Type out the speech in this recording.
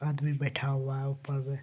आदमी बैठा हुआ है ऊपर में।